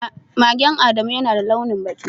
Magen Adamu yana da launi baki.